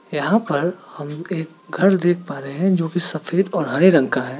यहां पर हम एक घर देख पा रहे हैं जो सफेद और हरे रंग का है।